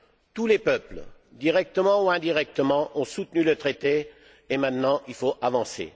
Tous les peuples, directement ou indirectement, ont soutenu le Traité et maintenant il faut avancer.